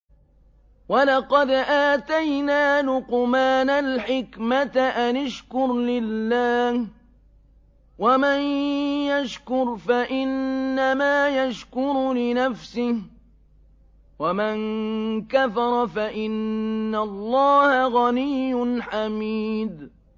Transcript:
وَلَقَدْ آتَيْنَا لُقْمَانَ الْحِكْمَةَ أَنِ اشْكُرْ لِلَّهِ ۚ وَمَن يَشْكُرْ فَإِنَّمَا يَشْكُرُ لِنَفْسِهِ ۖ وَمَن كَفَرَ فَإِنَّ اللَّهَ غَنِيٌّ حَمِيدٌ